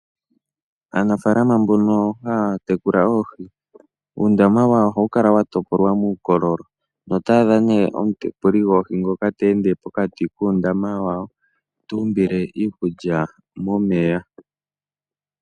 Aanafaalama mbono haa tekula oohi, uundama wawo ohawu kala wa topolwa muukololo. Noto adha ne omutekuli gwawo ngoka te ende pokati muundama wawo, tu umbile iikulya momeya.